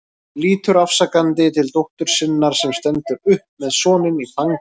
Lítur afsakandi til dóttur sinnar sem stendur upp með soninn í fanginu.